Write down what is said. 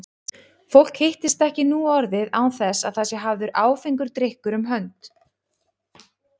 Fólk hittist ekki nú orðið án þess að það sé hafður áfengur drykkur um hönd.